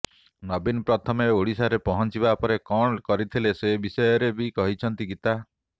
ନବୀନ ପ୍ରଥମେ ଓଡିଶାରେ ପହଂଚିବା ପରେ କଣ କରିଥିଲେ ସେ ବିଷୟରେ ବି କହିଛନ୍ତି ଗୀତା